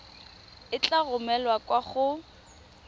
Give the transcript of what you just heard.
e tla romelwa kwa go